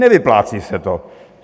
Nevyplácí se to.